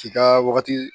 K'i ka wagati